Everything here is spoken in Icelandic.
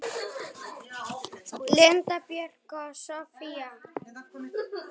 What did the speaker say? Linda Björk og Soffía.